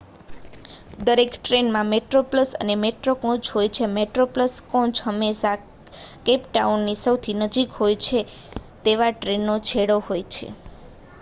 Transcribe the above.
દરેક ટ્રેનમાં મેટ્રોપ્લસ અને મેટ્રો કોચ હોય છે મેટ્રોપ્લસ કોચ હંમેશાં કેપ ટાઉનની સૌથી નજીક હોય તેવા ટ્રેનના છેડે હોય છે